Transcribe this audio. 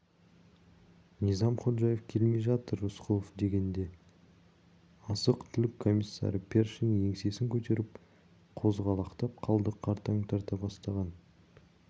низам ходжаев келмей жатыр рысқұлов дегенде азық-түлік комиссары першин еңсесін көтеріп қозғалақтап қалды қартаң тарта бастаған